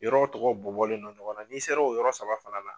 Yɔrɔw tɔgɔ bɔ bɔlen no ɲɔgɔn na n'i sera o yɔrɔ saba fana na.